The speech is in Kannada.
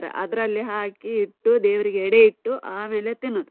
ಅದ್ರಲ್ಲಿ ಹಾಕಿ ಇಟ್ಟು. ದೇವ್ರಿಗೆ ಎಡೆ ಇಟ್ಟು ಆಮೇಲೆ ತಿನ್ನುದ್.